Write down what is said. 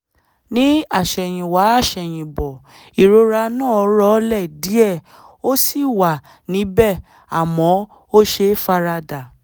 ní àsẹ̀yìnwá àsẹ̀yìnbọ̀ ìrora náà rọlẹ̀ díẹ̀ ó ṣì wà níbẹ̀ àmọ́ ó ṣeé fara dà